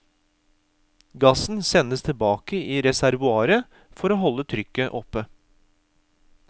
Gassen sendes tilbake i reservoaret for å holde trykket oppe.